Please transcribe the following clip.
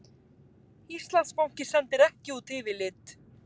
Íslandsbanki sendir ekki út yfirlit